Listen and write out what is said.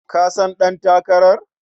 Ka san ɗantakarar?